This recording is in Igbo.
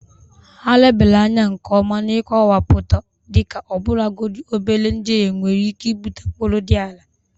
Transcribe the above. Ha lebara anya nke ọma na nkọwapụta dịka ọbụlagodi obere njehie nwere ike ibute mkpụrụ dị ala..